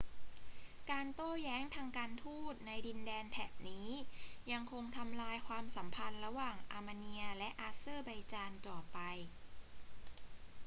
การโต้แย้งทางการทูตในดินแดนแถบนี้ยังคงทำลายความสัมพันธ์ระหว่างอาร์เมเนียและอาเซอร์ไบจานต่อไป